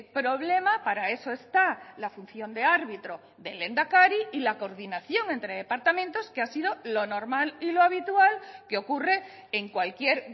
problema para eso está la función de árbitro del lehendakari y la coordinación entre departamentos que ha sido lo normal y lo habitual que ocurre en cualquier